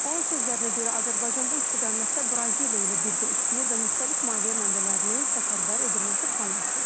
Onun sözlərinə görə Azərbaycan bu istiqamətdə Braziliya ilə birgə işləyir və müxtəlif maliyyə mənbələrinin səfərbər edilməsi planlaşdırılır.